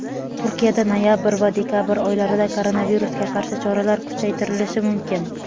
Turkiyada noyabr va dekabr oylarida koronavirusga qarshi choralar kuchaytirilishi mumkin.